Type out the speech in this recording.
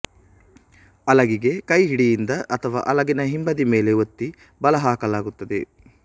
ಅಲಗಿಗೆ ಕೈಹಿಡಿಯಿಂದ ಅಥವಾ ಅಲಗಿನ ಹಿಂಬದಿ ಮೇಲೆ ಒತ್ತಿ ಬಲ ಹಾಕಲಾಗುತ್ತದೆ